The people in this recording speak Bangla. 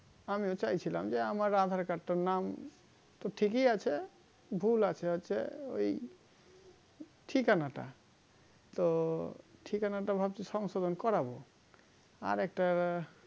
আমিও চাইছিলাম যে আমার aadhar card টার নাম তো ঠিকই আছে ভুল আছে হচ্ছে ওই ঠিকানাটা তো ঠিকানাটা ভাবছি সংশোধন করাবো আর একটা